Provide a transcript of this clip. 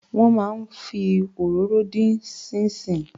Wọ́n máa ń fi òróró dín ṣíín ṣiìn.